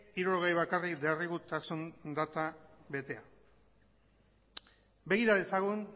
hirurogei bakarrik derrigortasun data betea begira dezagun